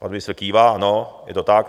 Pan ministr kývá, ano, je to tak.